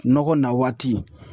Nɔgɔ na waati